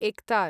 एकतार्